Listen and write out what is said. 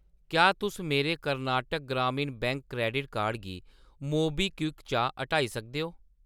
क्या तुस मेरे Karnataka Gramin bank credit card गी मोबीक्विक चा हटाई सकदे ओ ?